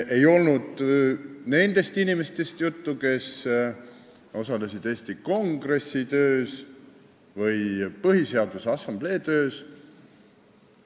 Ei olnud juttu nendest inimestest, kes osalesid Eesti Kongressi töös või Põhiseaduse Assamblee töös.